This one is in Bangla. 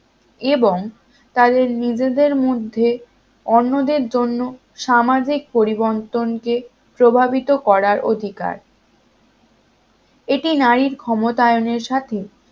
এবং তাদের নিজেদের মধ্যে অন্যদের জন্য সামাজিক পরিবর্তনকে প্রভাবিত করার অধিকার এটি নারীর ক্ষমতায়নের সাথে